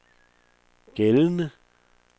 gældende